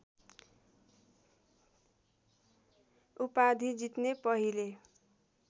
उपाधि जित्ने पहिले